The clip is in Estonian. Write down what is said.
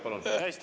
Palun!